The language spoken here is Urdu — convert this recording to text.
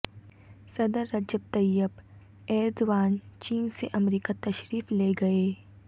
صدر رجب طیب ایردوان چین سے امریکہ تشریف لے گئے